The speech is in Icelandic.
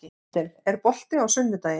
Kristel, er bolti á sunnudaginn?